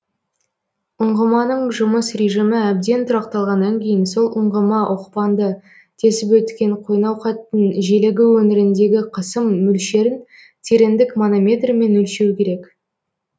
ұңғыманың жұмыс режимі әбден тұрақталғаннан кейін сол ұңғыма оқпанды тесіп өткен қойнауқаттың желегі өңіріндегі қысым мөлшерін тереңдік манометрімен өлшеу керек